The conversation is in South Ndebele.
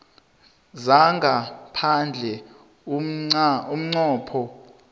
zangaphandle umnqopho